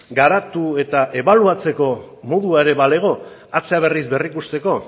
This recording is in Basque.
garatu eta ebaluatzeko modua ere balego atzea berriz berrikusteko